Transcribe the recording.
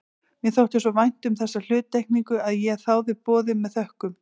Mér þótti svo vænt um þessa hluttekningu að ég þáði boðið með þökkum.